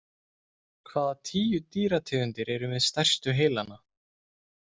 Hvaða tíu dýrategundir eru með stærstu heilana?